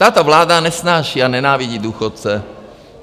Tato vláda nesnáší a nenávidí důchodce.